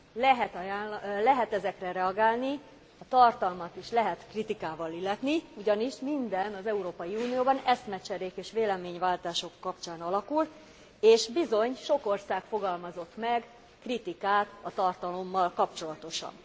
Lehet ezekre reagálni, a tartalmat is lehet kritikával illetni, ugyanis minden az Európai Unióban eszmecserék és véleményváltások kapcsán alakul és bizony sok ország fogalmazott meg kritikát a tartalommal kapcsolatosan.